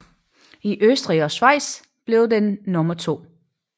I Østrig og Schweiz blev den nummer to